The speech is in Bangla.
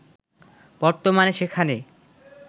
বর্তমানে সেখানে